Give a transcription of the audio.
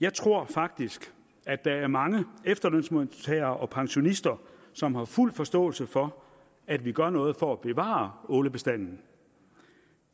jeg tror faktisk at der er mange efterlønsmodtagere og pensionister som har fuld forståelse for at vi gør noget for at bevare ålebestanden